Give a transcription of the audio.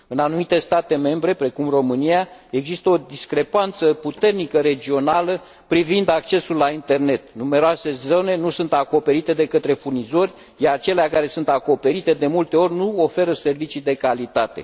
În anumite state membre, precum România, există o discrepanță puternică regională privind accesul la internet. Numeroase zone nu sunt acoperite de către furnizori, iar cele care sunt acoperite, de multe ori, nu oferă servicii de calitate.